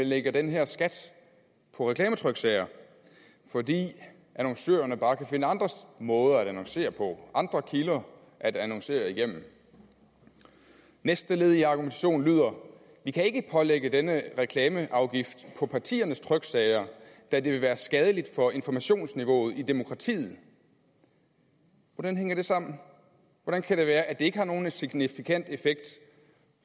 lægger den her skat på reklametryksager fordi annoncørerne bare kan finde andre måder at annoncere på og andre kilder at annoncere igennem næste led i argumentationen lyder vi kan ikke lægge denne reklameafgift på partiernes tryksager da det vil være skadeligt for informationsniveauet i demokratiet hvordan hænger det sammen hvordan kan det være at det ikke har nogen signifikant effekt